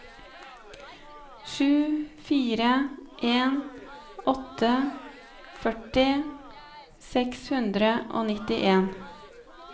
sju fire en åtte førti seks hundre og nittien